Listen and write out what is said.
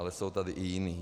Ale jsou tady i jiní.